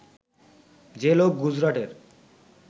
যে লোক গুজরাটের